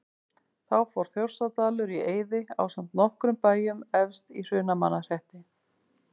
Þá fór Þjórsárdalur í eyði ásamt nokkrum bæjum efst í Hrunamannahreppi.